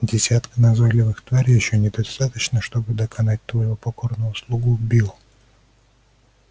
десятка назойливых тварей ещё недостаточно чтобы доконать твоего покорного слугу билл